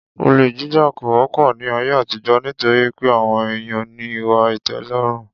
Olè jíjà kò wó̩pò̩ ní ayé àtijó̩ nítorí pé àwo̩n èèyàn ní ìwà ìté̩ló̩rùn